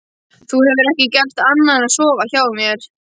Þú hefur ekki gert annað en að sofa hjá mér.